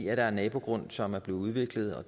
er en nabogrund som er blevet udviklet og